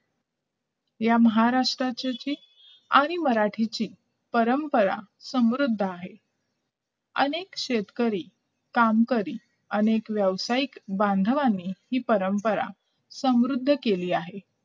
या महाराष्ट्राचे आणि मराठीची परंपरा समृद्ध आहे अनेक शेतकरी काम करी आणि व्यवसायिक बांधवांनी ही परंपरा समृद्ध केली आहे